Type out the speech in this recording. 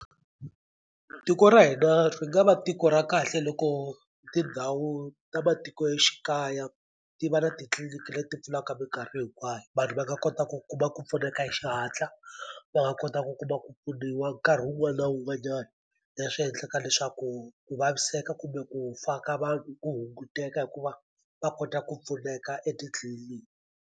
Tiko ra hina ri nga va tiko ra kahle loko tindhawu ta matikoxikaya ti va na titliliniki leti pfulaka minkarhi hinkwayo vanhu va nga kota ku kuma ku pfuneka hi xihatla va nga kota ku kuma ku pfuniwa nkarhi wun'wana wun'wanyani leswi endlaka leswaku ku vaviseka kumbe ku fa ka vanhu ku hunguteka hikuva va kota ku pfuneka etitliliniki.